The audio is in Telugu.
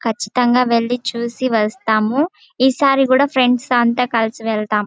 కచ్చితంగా వెళ్లి చూసి వస్తాము. ఈసారి కూడా ఫ్రెండ్స్ అంత కలిసి వెళ్తాము.